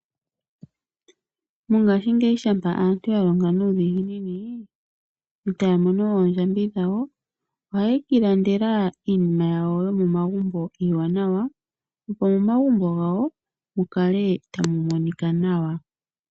Mongashingeyi shampa aantu ya longa nuudhiginini etaya mono oondjambi dhawo, ohaye kiilandela iinima yawo yomomagumbo iiwanawa, opo mu kale tamu monika nawa.